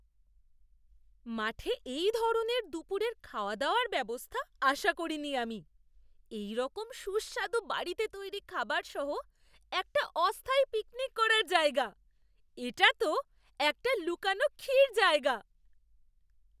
মাঠে এই ধরনের দুপুরের খাওয়াদাওয়ার ব্যবস্থা আশা করিনি আমি, এইরকম সুস্বাদু বাড়িতে তৈরি খাবার সহ একটা অস্থায়ী পিকনিক করার জায়গা! এটা তো একটা লুকানো ক্ষীর জায়গা!